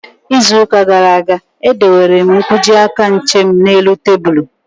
Ịzụ ụka gara aga, e dowere m nkwọji aka nche m n'elu tebụlu